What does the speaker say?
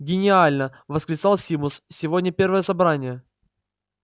гениально восклицал симус сегодня первое собрание